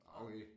Okay